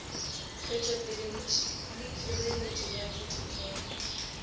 wetšopele le hireletšo ya ditokelo